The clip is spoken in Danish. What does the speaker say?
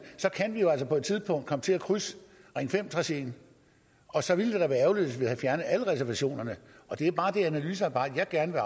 så kan vi jo altså på et tidspunkt komme til at krydse ring fem traceet og så ville det da være ærgerligt hvis vi havde fjernet alle reservationerne det er bare det analysearbejde jeg gerne vil